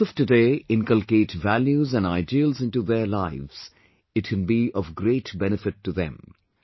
If the youth of today inculcate values and ideals into their lives, it can be of great benefit to them